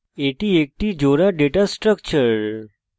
এটি একটি জোড়া ডেটা structure